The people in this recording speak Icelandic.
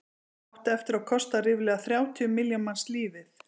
það átti eftir að kosta ríflega þrjátíu milljón manns lífið